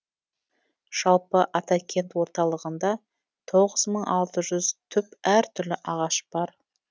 жалпы атакент орталығында тоғыз мың алты жүз түп әртүрлі ағаш бар